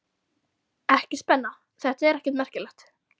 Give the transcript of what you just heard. Ekki spenna- þetta er ekkert merkilegt.